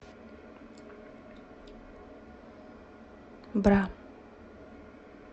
бра